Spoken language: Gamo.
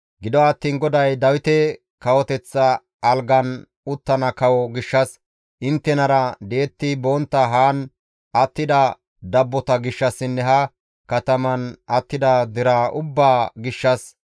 Gido attiin GODAY Dawite kawoteththa algan uttana kawo gishshas, inttenara di7etti bontta haan attida dabbota gishshassinne ha kataman attida deraa ubbaa gishshas,